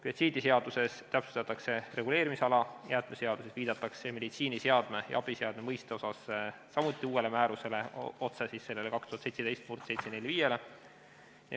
Biotsiidiseaduses täpsustatakse reguleerimisala, jäätmeseaduses viidatakse meditsiiniseadme ja abiseadme mõiste puhul samuti uuele määrusele, otse sellele 2017/745-le.